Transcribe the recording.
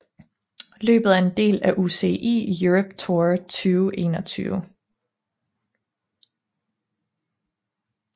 Løbet er en del af UCI Europe Tour 2021